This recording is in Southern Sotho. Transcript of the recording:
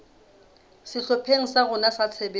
sehlopheng sa rona sa tshebetso